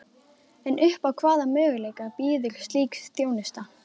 En upp á hvaða möguleika býður slík þjónusta?